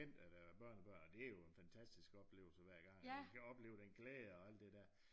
Der henter øh børnebørnene og det jo en fantastisk oplevelse hver gang at vi kan opleve den glæde og alt det der